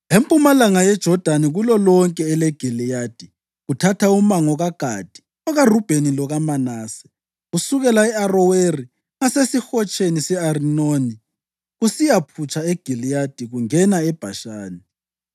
empumalanga yeJodani kulolonke eleGiliyadi (kuthatha umango kaGadi, okaRubheni lokaManase), kusukela e-Aroweri ngaseSihotsheni se-Arinoni kusiyaphutsha eGiliyadi kungena eBhashani.